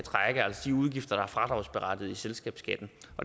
udgifter der er fradragsberettiget i selskabsskatten